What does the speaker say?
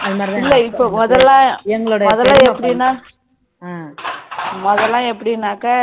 இல்ல இப்போ முதல்ல முதல்ல எப்படின்னா